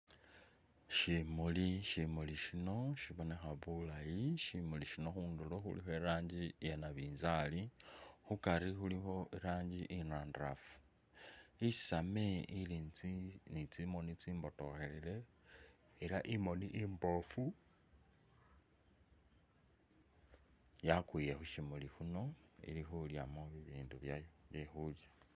Shimuli, shimuli shino shibonekha bulayi, shimuli shino khundulo khulikho iranji iya nabinzali, khukaari khulikho iranji inandarafu, isaame ili ni tsi ni tsimoni tsimbotohelele, ela imoni imboofu yakwile khu shimuli khuno ili khulyamo bibindu byayo bye khulya